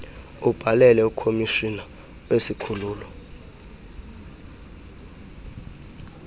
ubhalele ukhomishina wesikhululo